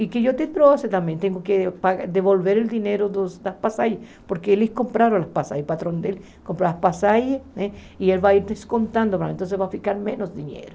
E que eu te trouxe também, tenho que devolver o dinheiro dos das passagens, porque eles compraram as passagens, o patrão dele comprou as passagens e ele vai ir descontando, então vai ficar menos dinheiro.